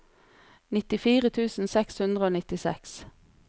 nittifire tusen seks hundre og nittiseks